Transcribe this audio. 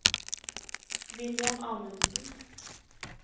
William Amundsen